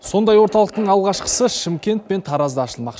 сондай орталықтың алғашқысы шымкент пен таразда ашылмақ